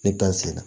Ne gan sen na